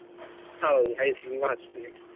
ಹೌದು, High school hostel ಗೆ.